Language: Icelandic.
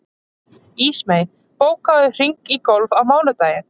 Ísmey, bókaðu hring í golf á mánudaginn.